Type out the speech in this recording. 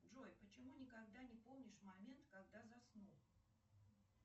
джой почему никогда не помнишь момент когда заснул